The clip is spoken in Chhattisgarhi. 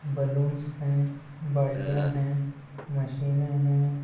बलून्स हैं बाल्टियाँ हैं मशीने हैं।